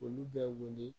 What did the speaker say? Olu bɛ wele